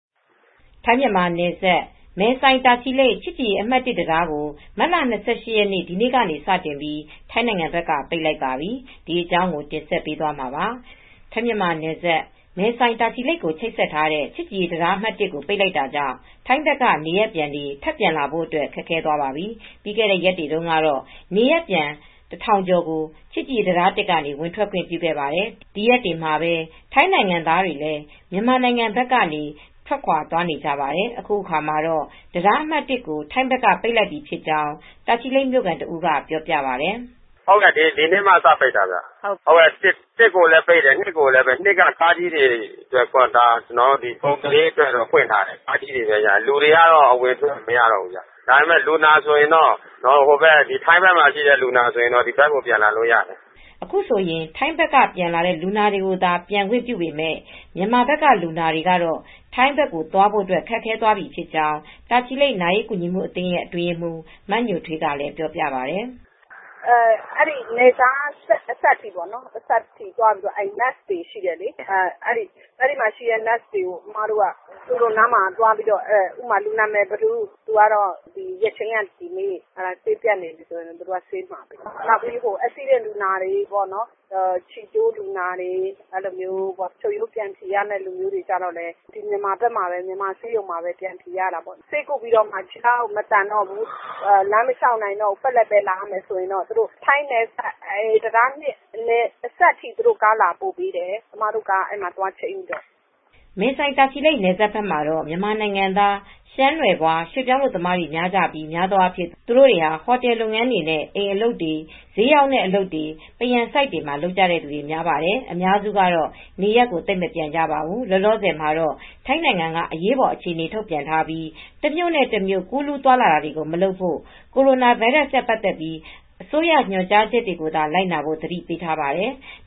ထိုင်း-မြန်မာနယ်စပ် မယ်ဆိုင်-တာချီလိတ် ချစ်ကြည်ရေးအမှတ် ၁ တံတားကို မတ်လ ၂၈ ရက် ဒီနေ့ကစတင်ပြီး ထိုင်းဘက်က ပိတ်လိုက်ပါတယ်။ အပြည့်အစုံကို ထိုင်းအခြေစိုက် ဗွီအိုအေ မြန်မာပိုင်းသတင်းထောက် မအေးအေးမာ သတင်းပေးပို့ထားပါတယ်။ ထိုင်း-မြန်မာနယ်စပ် မယ်ဆိုင်-တာချီလိတ်ကို ချိတ်ဆက်ထားတဲ့ ချစ်ကြည်ရေးတံတား ၁ ကို ပိတ်လိုက်တာကြောင့် ထိုင်းဘက်က နေရပ်ပြန်တွေ ထပ်ပြန်လာဖို့အတွက် ခက်သွားပါပြီ။ ပြီးခဲ့တဲ့ရက်တွေတုန်းကတော့ နေရပ်ပြန် တထောင်ကျော်ကို ချစ်ကြည်ရေးတံတား ၁ ကနေ ဝင်ထွက်ခွင့် ပြုခဲ့ပါတယ်။ ဒီရက်တွေမှာပဲ ထိုင်းနိုင်ငံသားတွေလည်း မြန်မာနိုင်ငံဘက်ကနေ ထွက်ခွာသွားနေကြပါတယ်။ အခုအခါမှာတော့ တံတားအမှတ် ၁ ကို ထိုင်းဘက်က ပိတ်လိုက်ပြီဖြစ်ကြောင်း တာချီလိတ်မြို့ခံတဦးက ပြောပြပါတယ်။ “ဒီနေ့မှာ စပိတ်တာဗျ၊ တံတား ၁ ကိုလည်းပိတ်တယ်၊ တံတား ၂ ကတော့ ကားကြီးတွေအတွက် ကုန်သွယ်ရေးအတွက် ဖွင့်ထားတယ်။ ကားကြီးတွေပဲရတယ်။ လူတွေတော့ အဝင်အထွက် မရတော့ဘူးဗျ။ ထိုင်းဘက်မှာရှိတဲ့ လူနာတွေကတော့ ဒီဘက်ကို ပြန်လာလို့ရတယ်။” အခုဆိုရင် ထိုင်းဘက်ကပြန်လာတဲ့ လူနာတွေကိုသာ ပြန်ခွင့်ပြုပေမယ့် မြန်မာဘက်က လူနာတွေကတော့ ထိုင်းဘက်ကိုသွားဖို့ ခက်ခဲသွားပြီဖြစ်ကြောင်း တာချီလိတ် နာရေးကူညီမှုအသင်း အတွင်းရေးမှူး မညိုထွေးက ပြောပါတယ်။ “နယ်ခြားအစပ်အထိသွားပြီး နာ့စ်တွေရှိတယ်။ သူတို့နားမှာ လူနာ နာမည် ဘယ်သူဆိုတာ ဆေးရုံဘာဆိုတာ ပြောပြပြီး ရက်ချိန်းက ဒီနေ့ဆိုပြီး ဆေးပြတ်နေပြီဆိုရင် ဆေးမှာတာကို သွားပြောပြရတယ်။ အက်စီးဒင့်လူနာတွေ၊ ခြေကျိုးလူနာတွေ၊ ချုပ်ရိုးပြန်ဖြည်ရမယ့် လူနာတွေကတော့ ဒီ မြန်မာဘက်က ဆေးရုံမှာပဲ ပြန်ဖြည်ရတော့တာပေါ့။ ဆေးကုပြီးတော့မှ ခြေထောက်မသန်တော့ဘူး၊ ပက်လက်ပဲ လာရတော့မယ်ဆိုရင်တော့ ထိုင်းနယ်စပ်တံတား ၂ အထိ သူတို့ ကားလာပို့ပေးတယ်။ အမတို့ကားနဲ့ အဲဒီမှာချိန်းပြီး သွားခေါ်ရတယ်။” မယ်ဆိုင်-တာချီလိတ် နယ်စပ်ဘက်မှာတော့ မြန်မာနိုင်ငံသား ရှမ်းနွယ်ဖွား ရွှေ့ပြောင်းအလုပ်သမားတွေ များကြပြီး များသောအားဖြင့် သူတို့တွေဟာ ဟိုတယ်လုပ်ငန်းတွေနဲ့ အိမ်အလုပ်တွေ၊ ဈေးရောင်းတဲ့အလုပ်တွေ၊ ပန်းရန်ဆိုက်တွေမှာ လုပ်ကြသူတွေ များပြီး အများစုကတော့ နေရပ်သိပ်မပြန်ကြပါဘူး။ လောလောဆယ်မှာတော့ ထိုင်းနိုင်ငံက အရေးပေါ်အခြေအနေ ထုတ်ပြန်ထားပြီး တမြို့နဲ့တမြို့ ကူးလူးသွားလာတွေကို မလုပ်ဖို့၊ ကိုရိုနာဗိုင်းရပ်စ်နဲ့ ပတ်သက်လို့ အစိုးရညွှန်ကြားချက်တွေကိုသာ လိုက်နာဖို့ သတိပေးထားပါတယ်။